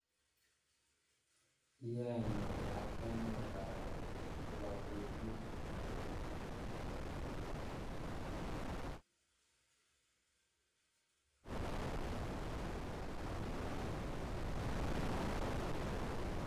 Iyaenee ya kenget karon eng kila betut